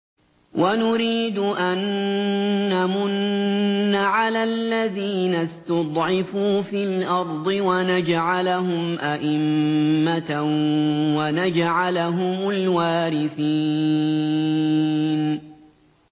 وَنُرِيدُ أَن نَّمُنَّ عَلَى الَّذِينَ اسْتُضْعِفُوا فِي الْأَرْضِ وَنَجْعَلَهُمْ أَئِمَّةً وَنَجْعَلَهُمُ الْوَارِثِينَ